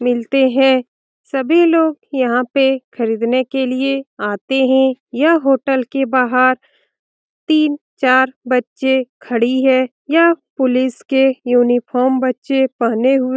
मिलते हैं सभी लोग यहाँ पे खरीदनें के लिए आते हैं । यह होटल के बाहर तीन-चार बच्चें खड़ी है । यह पुलिस के यूनिफार्म बच्चें पहने हुए --